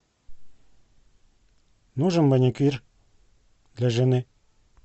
нужен маникюр для жены